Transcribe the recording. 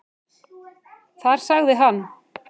Þar sagði hann.